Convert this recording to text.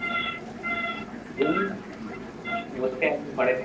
এই বসে আছি ঘরেতে